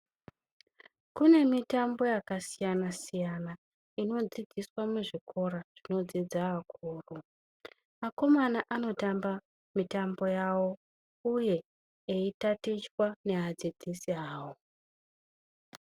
Kune mitambo yakasiyana-siyana, inodzidziswa muzvikora zvinodzidza akuru. Akomana anotamba mitambo yawo uye eitatichwa neadzidzisi awo.